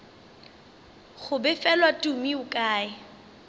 go befelwa tumi o kae